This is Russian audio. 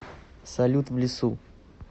салют в лесу